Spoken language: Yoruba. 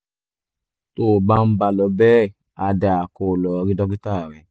tó o bá ń bá a lọ bẹ́ẹ̀ á dáa kó o lọ rí dókítà rẹ